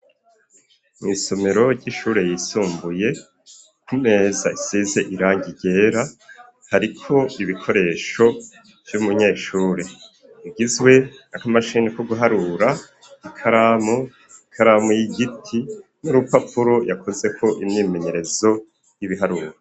Mw'isomero ry'ishure yisumbuye kumeza isize irangi ryera hariko ibikoresho vy'umunyeshure bigizwe n'aka mashini ko guharura ikaramu ikaramu y'igiti n'urupapuro yakozeko imyimenyerezo y'ibiharuro.